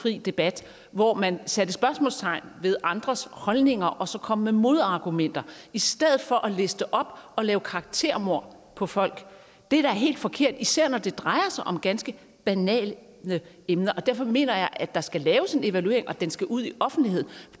fri debat hvor man satte spørgsmålstegn ved andres holdninger og så kom med modargumenter i stedet for at liste op og lave karaktermord på folk det er da helt forkert især når det drejer sig om ganske banale emner derfor mener jeg at der skal laves en evaluering og at den skal ud i offentligheden